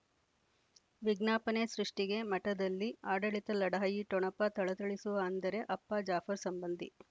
ವಿಜ್ಞಾಪನೆ ಸೃಷ್ಟಿಗೆ ಮಠದಲ್ಲಿ ಆಡಳಿತ ಲಢಾಯಿ ಠೊಣಪ ಥಳಥಳಿಸುವ ಅಂದರೆ ಅಪ್ಪ ಜಾಫರ್ ಸಂಬಂಧಿ